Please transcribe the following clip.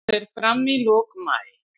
Það fer fram í lok maí.